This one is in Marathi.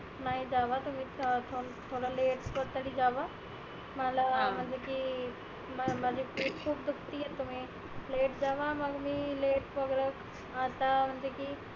नाही जावा तुम्ही थ थोड late कस तरी जावा. मला म्हणजे की म माझी पीट खुप दुखती आहे तुम्ही late जावा मग मी late सगळ आता म्हणते की